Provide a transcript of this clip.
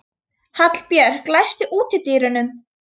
Hallbjörg, læstu útidyrunum.